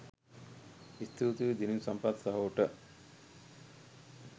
ස්තුතියි දිනිඳු සම්පත් සහෝට